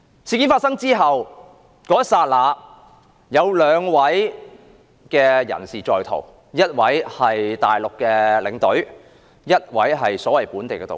事件發生後，有兩名人士在逃，一名是內地領隊，一名是所謂的"本地導遊"。